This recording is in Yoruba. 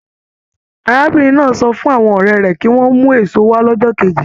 Arábìnrin náà sọ fún àwọn ọ̀rẹ́ rẹ̀ kí wọ́n mú èso wa lọ́jọ́ kejì.